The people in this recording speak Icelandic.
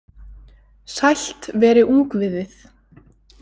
Sælt veri ungviðið.